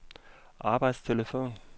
arbejdstelefon